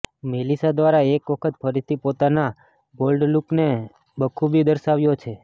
Melissa દ્વારા એક વખત ફરીથી પોતાના બોલ્ડ લૂકને બખુબી દર્શાવાયો છે